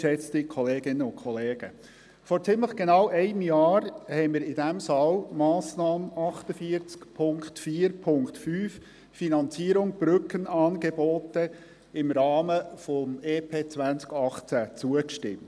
Vor ziemlich genau einem Jahr stimmten wir in diesem Saal der Massnahme 48.4.5, «Finanzierung Brückenangebote», im Rahmen des EP 2018 zu.